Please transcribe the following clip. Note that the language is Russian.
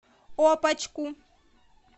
опочку